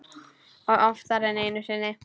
Og oftar en einu sinni.